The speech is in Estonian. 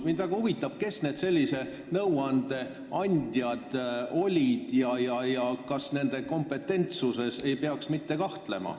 Mind väga huvitab, kes need sellise nõuande andjad olid ja kas nende kompetentsuses ei peaks kahtlema.